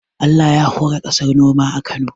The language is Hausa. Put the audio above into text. Allah ya hore kasar noma a Kano